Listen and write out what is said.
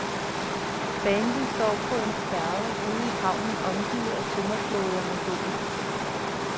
Bandet står på en færge ude i havnen omgivet af tømmerflåder med bål.